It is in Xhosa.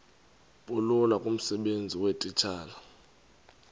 bulula kumsebenzi weetitshala